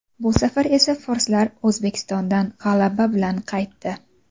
Bu safar esa forslar O‘zbekistondan g‘alaba bilan qaytdi.